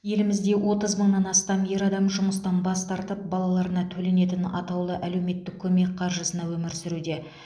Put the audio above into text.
елімізде отыз мыңнан астам ер адам жұмыстан бас тартып балаларына төленетін атаулы әлеуметтік көмек қаржысына өмір сүруде